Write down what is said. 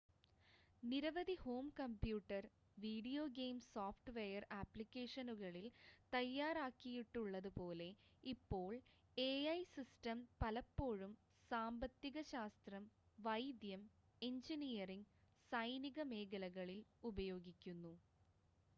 നിരവധി home computer video game software ആപ്ലിക്കേഷനുകളിൽ തയ്യാറാക്കിയിട്ടുള്ളത് പോലെ ഇപ്പോൾ എഐ സിസ്റ്റം പലപ്പോഴും സാമ്പത്തിക ശാസ്ത്രം വൈദ്യം എഞ്ചിനീയറിംഗ് സൈനിക മേഖലകളിൽ ഉപയോഗിക്കുന്നു